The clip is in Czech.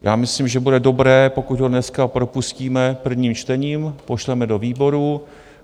Já myslím, že bude dobré, pokud ho dneska propustíme prvním čtením, pošleme do výborů.